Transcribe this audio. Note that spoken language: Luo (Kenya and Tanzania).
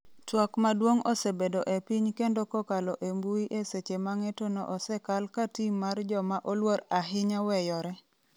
twak maduong' osebedo e piny kendo kokalo e mbui eseche ma ng'etono osekal ka tim mar joma oluor ahinya weyore